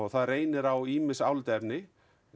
það reynir á ýmis álitaefni